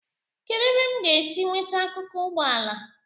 kedu ebe m ga-esi nweta akụkụ ụgbọ ala